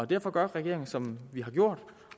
derfor gør regeringen som vi har gjort